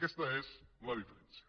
aquesta és la diferència